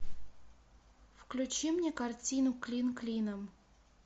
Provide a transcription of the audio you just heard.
включи мне картину клин клином